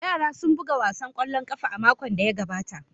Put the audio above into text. Yara sun buga wasan kwallon kafa a makon da ya gabata.